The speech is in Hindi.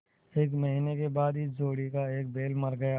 एक महीने के बाद इस जोड़ी का एक बैल मर गया